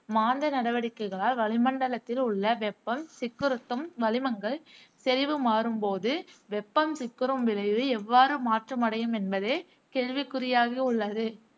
மாந்த நடவடிக்கைகளால் வளிமண்டலத்தில் உள்ள வெப்பம் சிக்குறுத்தும் வளிமங்கள் செறிவு மாறும் போது வெப்பம் சிக்குறும் விளைவு எவ்வாறு மாற்றமைடையும் என்பதே கேள்விகுள்ளாகியுள்ளது